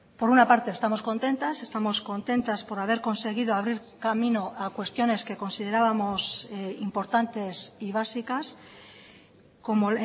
por una parte estamos contentas estamos contentas por haber conseguido abrir camino a cuestiones que considerábamos importantes y básicas como